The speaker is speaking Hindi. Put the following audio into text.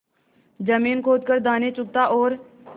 जमीन खोद कर दाने चुगता और